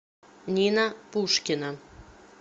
нина пушкина